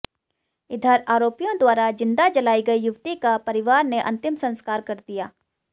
इधर आरोपियों द्वारा जिंदा जलाई गई युवती का परिवार ने अंतिम संस्कार कर दिया